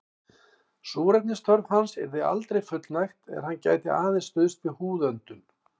Súrefnisþörf hans yrði aldrei fullnægt er hann gæti aðeins stuðst við húðöndun.